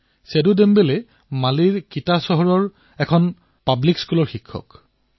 সেদু দেমবেলে মালীৰ এখন চহৰ কিটাৰ এখন চৰকাৰী বিদ্যালয়ৰ শিক্ষক